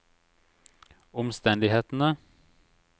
omstendighetene